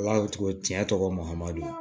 Ala cogo cɛ tɔgɔ modɛli